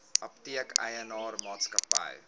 apteek eienaar maatskappy